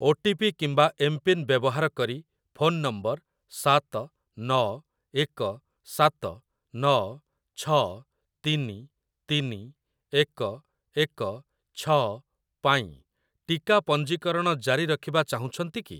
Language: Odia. ଓଟିପି କିମ୍ବା ଏମ୍‌ପିନ୍‌ ବ୍ୟବହାର କରି, ଫୋନ ନମ୍ବର ସାତ ନଅ ଏକ ସାତ ନଅ ଛଅ ତିନି ତିନି ଏକ ଏକ ଛଅ ପାଇଁ ଟିକା ପଞ୍ଜୀକରଣ ଜାରି ରଖିବା ଚାହୁଁଛନ୍ତି କି?